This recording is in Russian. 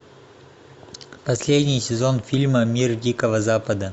последний сезон фильма мир дикого запада